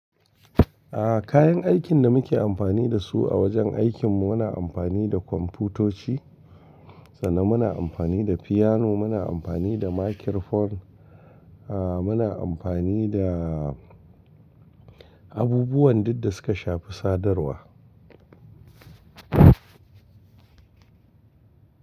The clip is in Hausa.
A'a kayan aikin da muke amfani da su a wajen aikin mu, muna amfani da kwamfutoci, sannan muna amfani da fiyano, muna amfani da microphone, a'a muna amfani da abubuwan duk da suka shafi sadarwa.